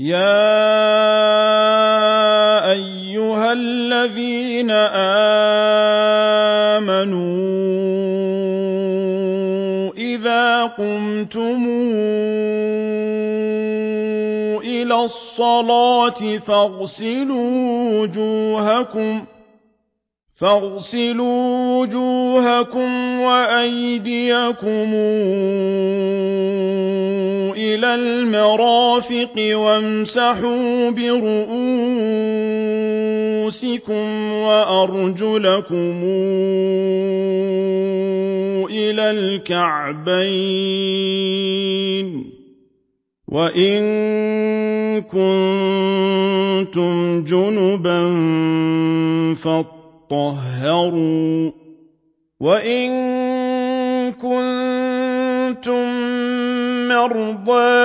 يَا أَيُّهَا الَّذِينَ آمَنُوا إِذَا قُمْتُمْ إِلَى الصَّلَاةِ فَاغْسِلُوا وُجُوهَكُمْ وَأَيْدِيَكُمْ إِلَى الْمَرَافِقِ وَامْسَحُوا بِرُءُوسِكُمْ وَأَرْجُلَكُمْ إِلَى الْكَعْبَيْنِ ۚ وَإِن كُنتُمْ جُنُبًا فَاطَّهَّرُوا ۚ وَإِن كُنتُم مَّرْضَىٰ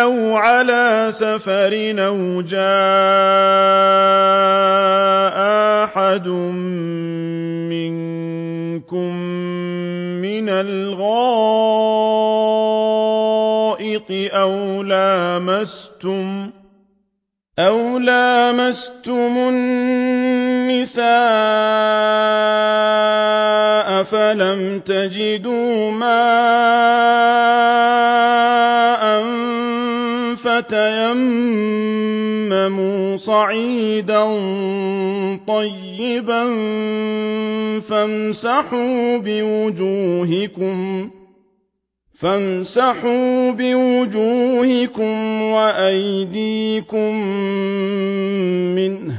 أَوْ عَلَىٰ سَفَرٍ أَوْ جَاءَ أَحَدٌ مِّنكُم مِّنَ الْغَائِطِ أَوْ لَامَسْتُمُ النِّسَاءَ فَلَمْ تَجِدُوا مَاءً فَتَيَمَّمُوا صَعِيدًا طَيِّبًا فَامْسَحُوا بِوُجُوهِكُمْ وَأَيْدِيكُم مِّنْهُ ۚ مَا يُرِيدُ اللَّهُ لِيَجْعَلَ عَلَيْكُم مِّنْ حَرَجٍ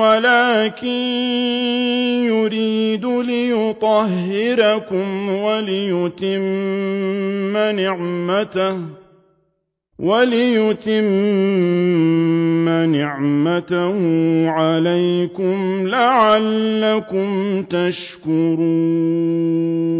وَلَٰكِن يُرِيدُ لِيُطَهِّرَكُمْ وَلِيُتِمَّ نِعْمَتَهُ عَلَيْكُمْ لَعَلَّكُمْ تَشْكُرُونَ